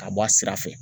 Ka bɔ a sira fɛ